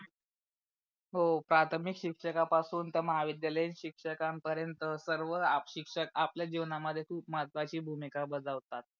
हो प्राथमिक शिक्षका पासून तर महाविद्यालय शिक्षकणा पर्यंत सर्व शिक्षक आपल्या जिवणा मध्ये खूप महत्वाची भूमिका बजावतात.